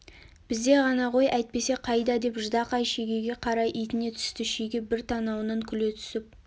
бізде ғана ғой әйтпесе қайда деп ждақай шегеге қарай итіне түсті шеге бір танауынан күле түсіп